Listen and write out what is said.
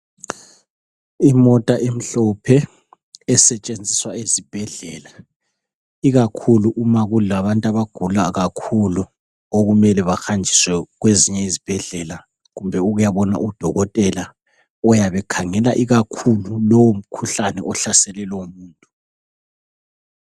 imota emhlophe esetshenziswa ezibhedlela ikakhulu uma kulabantu abagula kakhulu okumele bahanjiswe kwezinye izibhedlela kumbe ukuyabona u dokotela uyabe ekhangela ikakhulu lowo mkhuhlane oyabe uhlasele lowo muntu